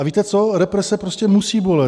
A víte co, represe prostě musí bolet.